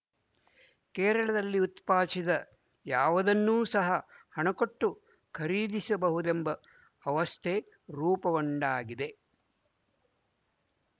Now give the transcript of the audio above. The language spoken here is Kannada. ಕೇರಳದಲ್ಲಿ ಉತ್ಪಾದಿಸದ ಯಾವುದನ್ನೂ ಸಹ ಹಣಕೊಟ್ಟು ಖರೀದಿಸಬಹುದೆಂಬ ಅವಸ್ಥೆ ರೂಪುಗೊಂಡಾಗಿದೆ